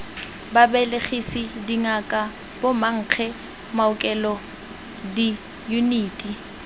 babelegisi dingaka bomankge maokelo diyuniti